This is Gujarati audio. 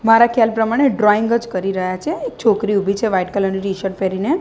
મારા ખ્યાલ પ્રમાણે ડ્રોંઈગ જ કરી રહ્યા છે એક છોકરી ઊભી છે વ્હાઈટ કલર ની ટીશર્ટ પહેરીને.